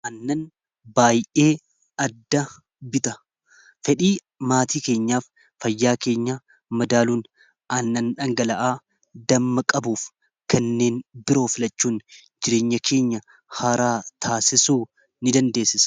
annan baay'ee adda bita fedhii maatii keenyaaf fayyaa keenya madaaluun annan dhangala'aa damma qabuuf kanneen biroo filachuun jireenya keenya haaraa taasisuu in dandeessisa